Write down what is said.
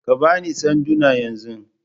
Ka ba ni sanduna yanzu!